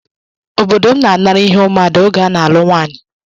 Obodo m na-anara ihe ụmụada oge a na-alụ nwaanyị